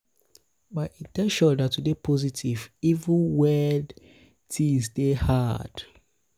my in ten tion na to dey um positive even wen um tins dey hard. dey hard.